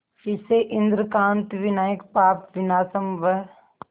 इसे इंद्रकांत विनायक पापविनाशम व